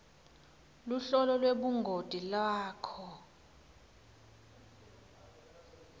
luhlolo lwebungoti lwakho